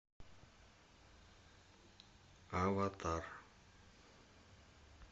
аватар